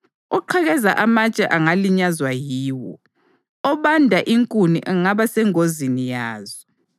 Oqhekeza amatshe angalinyazwa yiwo; obanda inkuni angaba sengozini yazo.